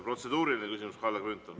Protseduuriline küsimus, Kalle Grünthal.